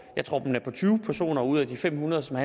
jeg tror at den er på tyve personer ud af de fem hundrede for